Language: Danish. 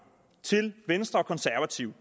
til venstre og konservative